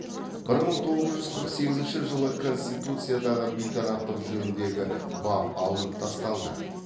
бір мың тоғыз жүз қырық сегізінші жылы конституциядағы бейтараптық жөніндегі бап алынып тасталды